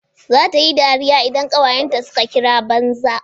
Za tayi dariya idan kawayen ta suka kira banza